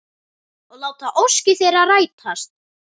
Og láta óskir þeirra rætast.